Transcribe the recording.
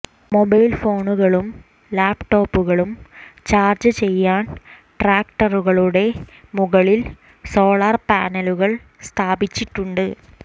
mobile ഫോണുകളും ലാപ്ടോപ്പുകളും charge ചെയ്യാൻ ട്രാക്ടറുകളുടെ മുകളിൽ സോളാർ പാനലുകൾ സ്ഥാപിച്ചിട്ടുണ്ട്